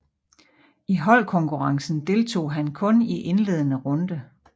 I holdkonkurrencen deltog han kun i indledende runde